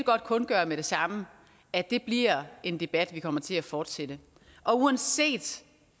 kundgøre med det samme at det bliver en debat vi kommer til at fortsætte og uanset